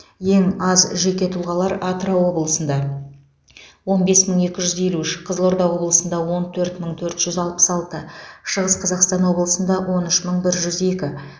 ең аз жеке тұлғалар атырау облысында он бес мың екі жүз елу үш қызылорда облысында он төрт мың төрт жүз алпыс алты шығыс қазақстан облысында он үш мың бір жүз екі